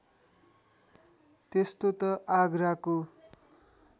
त्यस्तो त आगराको